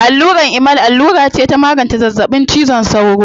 Allurar Emal allura ce ta magance zazzaɓin cizon sauro.